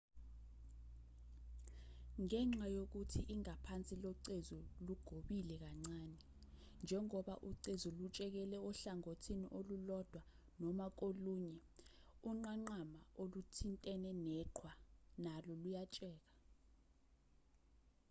ngenxa yokuthi ingaphansi locezu lugobile kancane njengoba ucezu lutshekela ohlangothini olulodwa noma kolunye unqanqama oluthintene neqhwa nalo luyatsheka